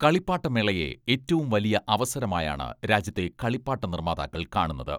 കളിപ്പാട്ടമേളയെ ഏറ്റവും വലിയ അവസരമായാണ് രാജ്യത്തെ കളിപ്പാട്ട നിർമാതാക്കൾ കാണുന്നത്.